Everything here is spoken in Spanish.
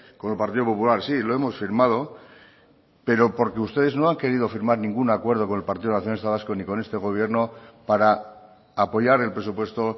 con el partido popular sí lo hemos firmado pero porque ustedes no han querido firmar ningún acuerdo con el partido nacionalista vasco ni con este gobierno para apoyar el presupuesto